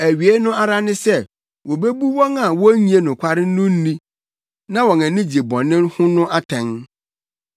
Awiei no ara ne sɛ wobebu wɔn a wonnye nokware no nni na wɔn ani gye bɔne ho no atɛn.